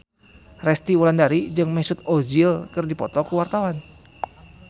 Resty Wulandari jeung Mesut Ozil keur dipoto ku wartawan